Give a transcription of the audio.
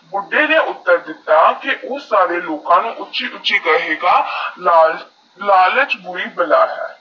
ਤਾੜ ਯੂਐਸਐਸ ਲਾਲਚੀ ਆਦਮੀ ਨੇਈ ਬੁੱਢੇ ਆਦਮੀ ਨੂੰ ਪੁੱਛਿਆ ਹੁਣ ਬਾਹਰ ਜਾਕਰ ਕੀ ਕਰੇਂਗਾ ਬੁਢੇ ਨੈ ਉਤਰ ਦਿੱਤਾ ਕਿ ਓ ਸਾਰੇ ਲੋਕਾ ਨਾ ਉਚੇ ਉਚੇ ਕਹੇਗਾ ਲਾਲਚ ਬੁਰੀ ਬਲਾ ਹੈ